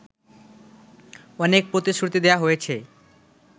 অনেক প্রতিশ্রুতি দেয়া হয়েছে